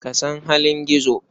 Ka san halin Gizo?